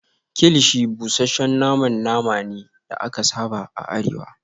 kilichi busasshen naman nama ne da aka saba a arewa